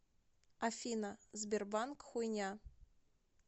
афина сбербанк хуйня